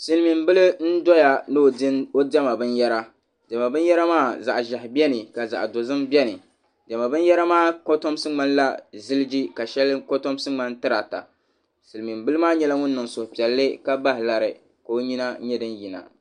Silimiim'bila n-doya ni o diɛma binyɛra diɛma binyɛra maa zaɣ'ʒɛhi ka zaɣ'dozim beni diɛma binyɛra kotomsi ŋmanila ziligi ka shɛli kotomsi ŋmani tirita silimiim'bila maa nyɛla ŋun niŋ suhupiɛlli ka bahi lari ka o nyina nyɛ din yina.